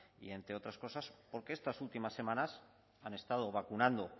y entre otras cosas porque estas últimas semanas han estado vacunando